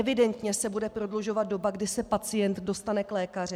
Evidentně se bude prodlužovat doba, kdy se pacient dostane k lékaři.